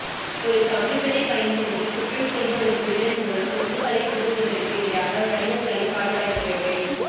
ஒரு கம்ப்யூட்டரைப் பயன்படுத்தி குற்றம் செய்த ஒரு திருடன் மூலம் சொத்துக்களை திருடுவதற்கு எதிராக வணிகங்களை பாதுகாக்கிறது